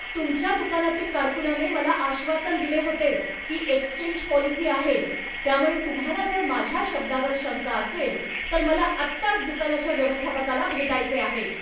तुमच्या दुकानातील कारकूनाने मला आश्वासन दिले होते की एक्सचेंज पॉलिसी आहे, त्यामुळे तुम्हाला जर माझ्या शब्दावर शंका असेल, तर मला आत्ताच दुकानाच्या व्यवस्थापकाला भेटायचे आहे.